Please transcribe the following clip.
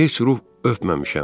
Heç ruh öpməmişəm.